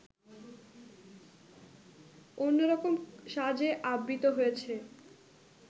অন্যরকম সাজে আবৃত হয়েছে